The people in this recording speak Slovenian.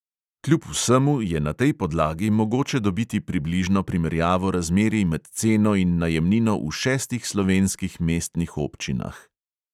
Kljub vsemu je na tej podlagi mogoče dobiti približno primerjavo razmerij med ceno in najemnino v šestih slovenskih mestnih občinah.